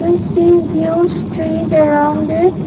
sea views trees around it.